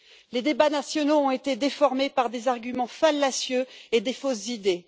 Les débats nationaux ont été déformés par des arguments fallacieux et de fausses idées.